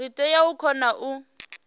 ri tea u kona u